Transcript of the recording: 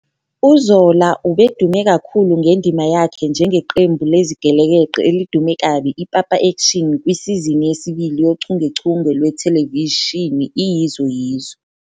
UZola ubedume kakhulu ngendima yakhe njengeqembu lezigelekeqe elidume kabi iPapa Action kwisizini yesibili yochungechunge lwethelevishini "iYizo Yizo."